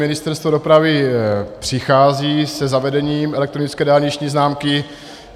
Ministerstvo dopravy přichází se zavedením elektronické dálniční známky.